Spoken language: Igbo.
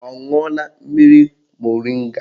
Ọ ṅụọla mmiri moringa?